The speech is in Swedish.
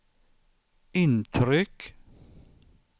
intryck